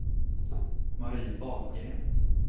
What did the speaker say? Marie Wahlgren